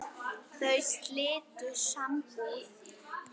Þau slitu sambúð.